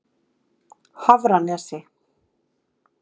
Hafranesi